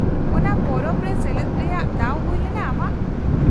-ᱚᱱᱟ ᱯᱚᱨᱚᱵᱽ ᱨᱮ ᱥᱮᱞᱮᱫ ᱨᱮᱭᱟᱜ ᱫᱟᱣ ᱦᱩᱭᱞᱮᱱᱟ ᱟᱢᱟᱜ ?